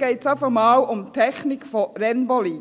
jetzt einmal um die Technik von Rennboliden.